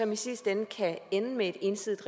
som i sidste ende kan ende med et ensidigt